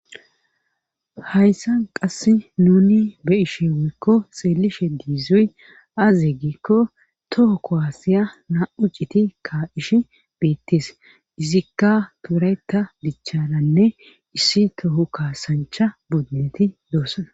Hayssan qassi nuuni be7ishin woykko xeellishen dizoy aaze giikko toho kuwaasiya naa7u citi kaa7ishi beettes;izika wolaytta dicharanne issi toho kaassanchcha buduneti doosona.